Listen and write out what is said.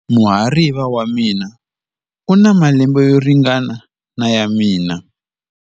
Muhariva wa mina u na malembe yo ringana na ya mina.